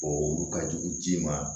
O olu ka jugu ji ma